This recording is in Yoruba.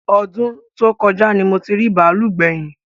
Ọdún tó kọjá ni mo ti rí bàálù gbẹ̀yìn